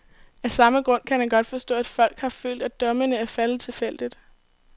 Af samme grund kan han godt forstå, at folk har følt, at dommene er faldet tilfældigt.